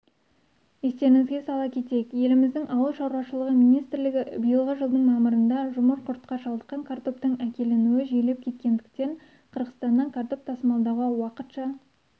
естеріңізге сала кетейік еліміздің ауыл шаруашылығы министрлігі биылғы жылдың мамырында жұмыр құртқа шалдыққан картоптың әкелінуі жиілеп кеткендіктен қырғызстаннан картоп тасымалдауға уақытша